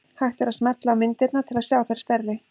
Hægt er að smella á myndirnar til að sjá þær stærri.